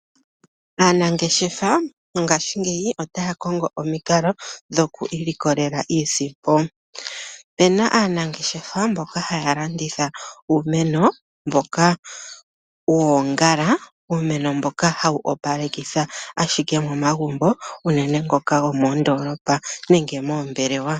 Aanangeshefa ngaashingeyi otaya kongo omikalo dhoku ilikolela iisimpo. Opena aanangeshefa mboka haya landitha uumeno mboka woongala uumeno mboka hawu opalekitha ashike momagumbo uunene ngoka goomondolopa nenge moombelewa.